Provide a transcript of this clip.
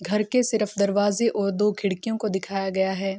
घर के सिर्फ दरवाजों और दो खिड़कियों को दिखाया गया है।